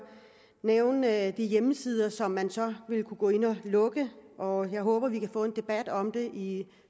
nævne at der er hjemmesider som man så vil kunne gå ind og lukke og jeg håber vi kan få en debat om det i i